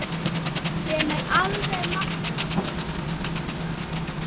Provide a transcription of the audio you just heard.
Sem er alveg magnað.